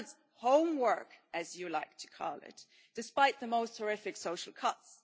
it does its homework', as you like to call it, despite the most horrific social cuts.